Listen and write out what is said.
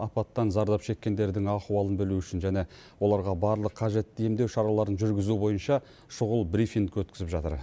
апаттан зардап шеккендердің ахуалын білу үшін және оларға барлық қажетті емдеу шараларын жүргізу бойынша шұғыл брифинг өткізіп жатыр